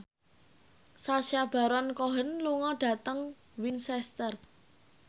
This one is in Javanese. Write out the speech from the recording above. Sacha Baron Cohen lunga dhateng Winchester